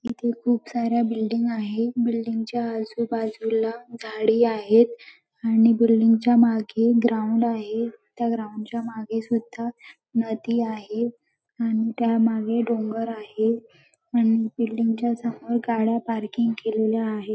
इथे खूप साऱ्या बिल्डिंग आहे बिल्डिंग च्या आजूबाजूला झाडी आहेत आणि बिल्डिंगच्या मागे ग्राउंड आहेत त्या ग्राऊंड च्या मागे सुद्धा नदी आहे आणि त्यामागे डोंगर आहे अन बिल्डिंगच्या समोर गाड्या पार्किंग केलेल्या आहे.